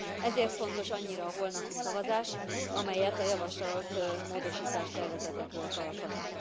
Ezért fontos annyira a holnapi szavazás, amelyet a javasolt módosítástervezetekről tartanak.